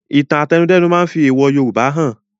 Ìtàn àtẹnudẹ́nu máa fi èèwò Yorùbá han